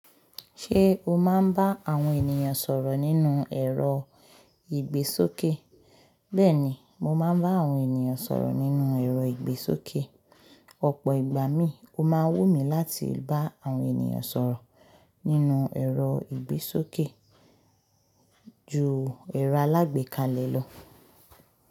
Ṣé o máa ń bá àwọn ènìyàn sọ̀rọ̀ nínú ẹ̀rọ ìgbésókè? Bẹ́ẹ̀ni, mo máa ń bá àwọn ènìyàn sọ̀rọ̀ nínú ẹ̀rọ ìgbésókè. Ọ̀pọ̀ ìgbà mí, ó máa wù mí láti bá àwọn ènìyàn sọ̀rọ̀ nínú ẹ̀rọ ìgbésókè ju ẹ̀rọ alágbèéká lọ.